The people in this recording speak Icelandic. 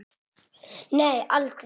Nei, aldrei.